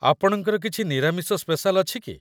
ଆପଣଙ୍କର କିଛି ନିରାମିଷ ସ୍ପେସାଲ୍ ଅଛି କି?